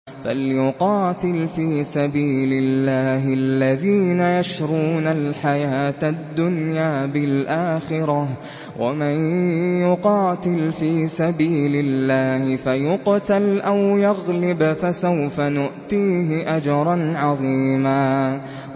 ۞ فَلْيُقَاتِلْ فِي سَبِيلِ اللَّهِ الَّذِينَ يَشْرُونَ الْحَيَاةَ الدُّنْيَا بِالْآخِرَةِ ۚ وَمَن يُقَاتِلْ فِي سَبِيلِ اللَّهِ فَيُقْتَلْ أَوْ يَغْلِبْ فَسَوْفَ نُؤْتِيهِ أَجْرًا عَظِيمًا